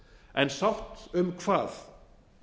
en sátt um hvað